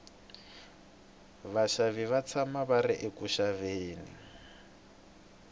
vaxavi va tshama va ri eku xaveni